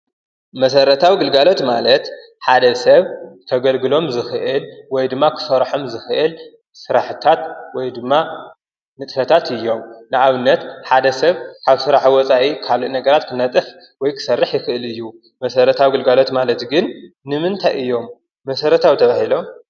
መሰረታዊ ግልጋሎት ማለት ሓደ ሰብ ከገልግሎም ዝክእል ወይ ድማ ክሰርሖም ዝክእል ስራሕትታት ድማ ንጥፈታት እዮም። ንኣብነት ሓደ ሰብ ካብ ስራሕ ወፃኢ ብሓደ ነገራት ክነጥፍ ክሰርሕ ይኽእል እዩ። መሰረታዊ ግልጋሎት ማለት ግን ንምንታይ እዮም መሰረታዊ ተባሂሎም ?